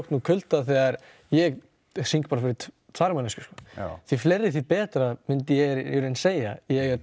úr kulda þegar ég syng bara fyrir tvær manneskjur því fleiri því betra myndi ég í raun segja